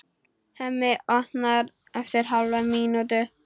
Hemmi opnar eftir hálfa mínútu.